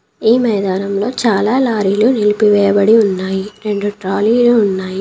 ఈ మైదానంలో చాలా లారీలు నిలిపివేయబడి ఉన్నాయి రెండు ట్రాలీలు ఉన్నాయి.